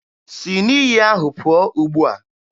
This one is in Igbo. Si na iyi ahụ pụọ ugbua!